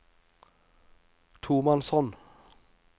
tomannshånd